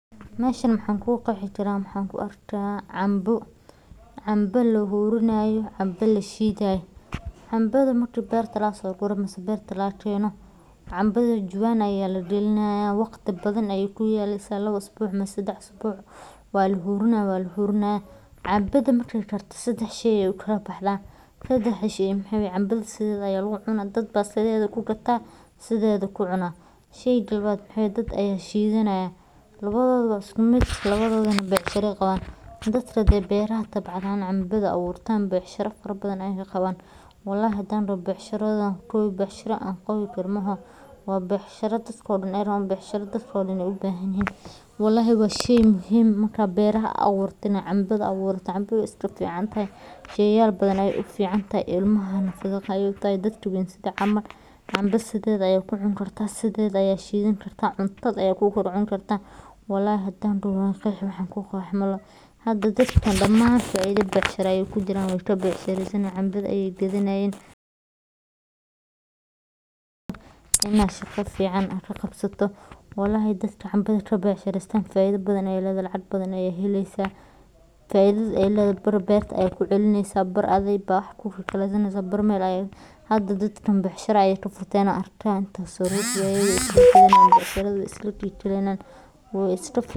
Meshan maxan ku qeexi karaa waxan ku arka canbo, canbo lahurinayo, canbo lashidhay, canbadha marki beerta laga so guray ama beerta laga keno canbadha jawan aya lagalinayo waqti badan ayey ku yaleysa lawa isbuc mase sadax isbuc, waa lahurina waa lahurina, canbadha marki ee karto sadax shey ayey oo kala baxdha, sadaxda shey maxaa waye canbadha sidetha aya lagu cuna dad baa sidetha ku gata sithedha ku cuna, sheyga lawaad maxaa waye dad aya shidhanaya lawadhodana iskumiid lawadhodana becshira ayey qawan, dadka hade beer aburtan becshira fara badan ayey kaqawanayin, walahi hadan doho becshiradha ayan kowi becshira an kowi karo mooho, waa becshira dadko dan ee rawa, waa becshira dadko dan u bahan yihin, walahi waa shey muhiim ah marka beeraha aburtana canbadha aburta canbadha wexee ku ficantahay sheyal badan ayey u ficantahy ilmaha uficantahay sithokale dadka wawen, sitheda aya ku cuni kartaa sidheda aya ku shidhan kartaa, marka cuntadha aya ku kor cuni kartaa walahi hadan doho wan qeexi wax an ku qeexo malaha, dadkan daman faidha becshira ayey ku jiran wee ka becshireysanayan, canbadha ayey gadhanayin, in aa shaqa fican qabsato walahi dadka canbadha ka becshirestan faidha badan ayey ledhahay lacag badan aya heleysa, faidhada ee ledhahay bar berta aya ku celineysa barna adhiga aya wax ku kikalesaneysa, hada dadkan becshira ayey ka furteen an arki hayo taso becshiradha isla ki kaleynayan wee isla.